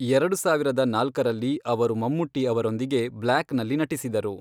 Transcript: ಎರಡು ಸಾವಿರದ ನಾಲ್ಕರಲ್ಲಿ, ಅವರು ಮಮ್ಮುಟ್ಟಿ ಅವರೊಂದಿಗೆ ಬ್ಲ್ಯಾಕ್ ನಲ್ಲಿ ನಟಿಸಿದರು.